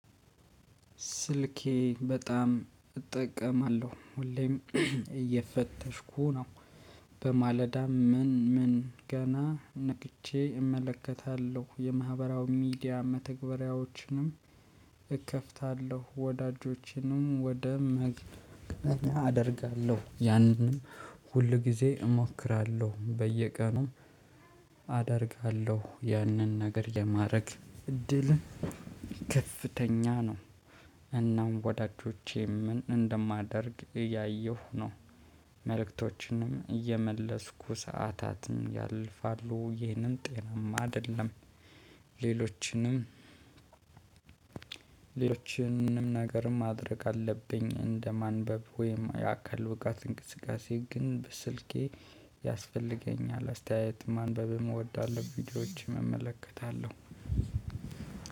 ስልኬ በጣም እጠቀማለሁ ሁሌም እየፈተሽኩ ነው። በማለዳ ምን ምን ገና ነቅቼ እመለከታለሁ የማህበራዊ ሚዲያ መተግበሪያዎችንም እከፍታለሁ ወዳጆችንም ወደ መገናኛ አደርጋለሁ። ያንንም ሁል ጊዜ እሞክራለሁ በየቀኑ። አደርጋለሁ ያንን ነገር የማድረግ እድል ከፍተኛ ነው። እናም ወዳጆቼም እንደማደርግ እያየሁ ነው። መልእክቶችንም እየመለስኩ ሰዓታትን ያልፋሉ ይህንን ጤናማ አይደለም። ሌሎችንም ሌሎችንም ነገርም ማድረግ አለብኝ። እንደ ማንበብ ወይም የአካል ብቃትት እንቅስቃሴ ግን በስልኬ ያስፈልገኛል አስተያየት ማንበብ እወዳለሁ። ቪዲዮዎች እመለከታለሁ።